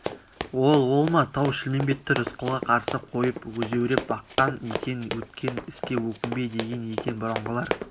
ол ол ма тау-шілмембетті рысқұлға қарсы қойып өзеуреп баққан екен өткен іске өкінбе деген екен бұрынғылар